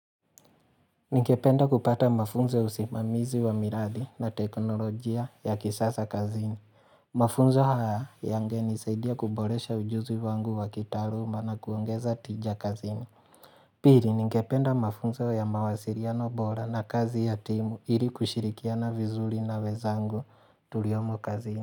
Ningependa kupata mafunzo ya usimamizi wa miradi na teknolojia ya kisasa kazini. Mafunzo haya yangenisaidia kuboresha ujuzi wangu wa kitaaluma na kuongeza tija kazini. Pili ningependa mafunzo ya mawasiliano bora na kazi ya timu ili kushirikiana vizuri na wezangu tuliomu kazini.